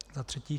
Za třetí.